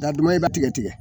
Da dama in bɛ tigɛ tigɛ